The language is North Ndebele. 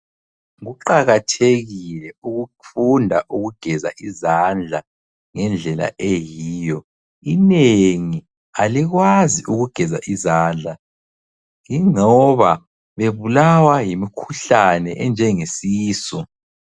Kuqakathekile ukufunda ukugeza izandla ngendlela eyiyo. Inengi alikwazi ukugeza izandla ingoba bebulawa yimikhuhlane enjengesisu.